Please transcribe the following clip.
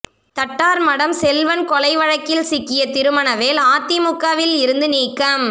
தட்டார்மடம் செல்வன் கொலை வழக்கில் சிக்கிய திருமணவேல் அதிமுகவில் இருந்து நீக்கம்